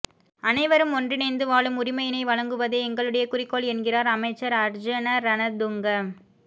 அனைவரும் ஒன்றினைந்து வாழும் உரிமையினை வழங்குவதே எங்களுடைய குறிக்கோள் என்கின்றார் அமைச்சர் அர்ஜீன ரணதுங்க